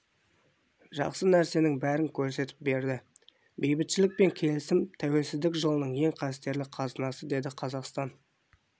жақсы нәрсенің бәрін көрсетіп берді бейбітшілік пен келісім тәуелсіздіктің жылының ең қастерлі қазынасы деді қазақстан